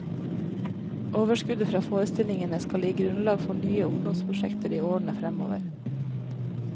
Overskuddet fra forestillingene skal gi grunnlag for nye ungdomsprosjekter i årene fremover.